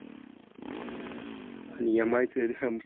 आन MI चे